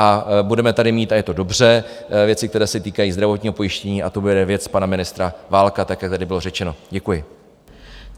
A budeme tady mít, a je to dobře, věci, které se týkají zdravotního pojištění, a to bude věc pana ministra Válka, tak jak tady bylo řečeno, děkuji.